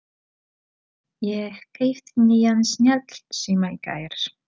Ég keypti nýjan snjallsíma í gær.